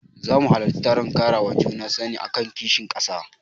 Zama halarci taron ƙarawa juna sani akan kishin ƙasa.